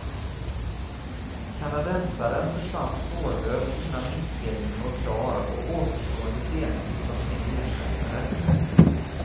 Kanadensaren försvann spårlöst innan inspelningen var klar och återstående scener fick tas med ersättare.